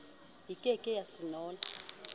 e ke ke ya senola